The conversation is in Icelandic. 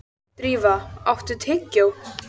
Drífa, áttu tyggjó?